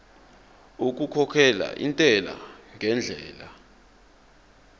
okukhokhela intela ngendlela